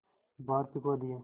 बाहर फिंकवा दिया